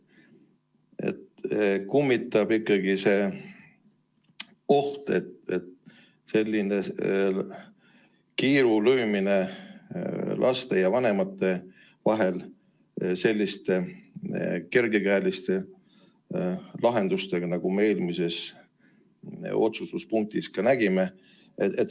Kummitab ikkagi oht, et lüüakse kiil laste ja vanemate vahele, kui kasutatakse selliseid kergekäelisi lahendusi, nagu me eelmises otsustuspunktis nägime.